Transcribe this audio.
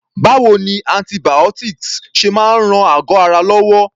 Báwo ni antibiotics ṣe máa ń ran àgọ́ ara wa lọ́wọ́?